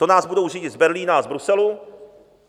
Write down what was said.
To nás budou řídit z Berlína a z Bruselu?